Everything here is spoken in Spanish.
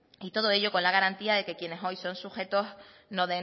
y todo ello con la garantía de quienes hoy son sujetos no